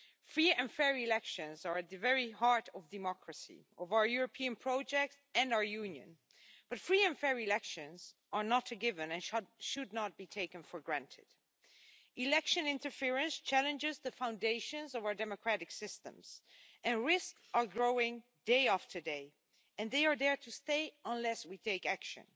Free and fair elections are at the very heart of democracy, of our European project and our Union, but free and fair elections are not a given and should not be taken for granted. Election interference challenges the foundations of our democratic systems and risks are growing day after day and they are there to stay unless we take action.